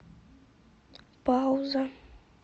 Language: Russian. пауза